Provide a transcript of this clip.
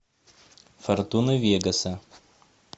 фортуна вегаса